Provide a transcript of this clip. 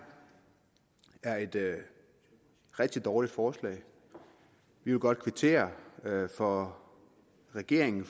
er et rigtig dårligt forslag vi vil godt kvittere for at regeringen